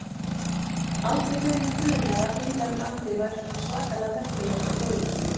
Aldrei hefur mig grunað að Heilagur Andi væri svona svakalega merkilegur og góður.